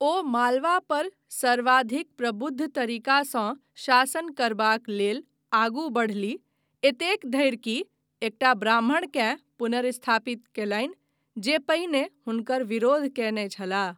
ओ मालवा पर सर्वाधिक प्रबुद्ध तरीकासँ शासन करबाक लेल आगू बढ़लीह, एतेक धरि कि एकटा ब्राह्मणकेँ पुनर्स्थापित कयलनि जे पहिने हुनकर विरोध कयने छलाह।